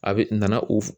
A bɛ na u